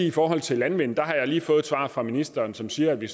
i forhold til landmænd har jeg lige fået et svar fra ministeren som siger at vi